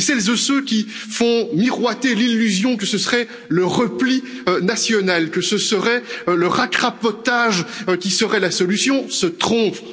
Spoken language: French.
Et celles et ceux qui font miroiter l'illusion que ce serait le repli national, que ce serait le racrapotage qui seraient la solution se trompent.